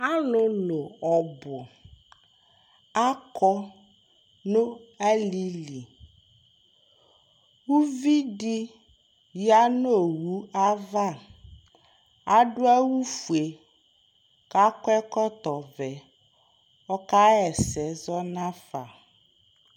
alolo ɔbo akɔ no ali li uvi di ya no owu ava ado awu fue ko akɔ ɛkɔtɔ vɛ ko ɔka ɣa ɛsɛ zɔ nafa